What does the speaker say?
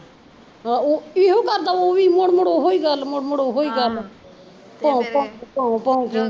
ਹਾਂ ਇਹੋ ਕਰਦਾ ਵਾ ਉਹ ਵੀ ਮੁੜ ਮੁੜ ਉਹੀਂ ਗੱਲ ਮੁੜ ਮੁੜ ਉਹੋ ਗੱਲ, ਭੋਂਕ ਕੇ ਭੋਕ ਕੇ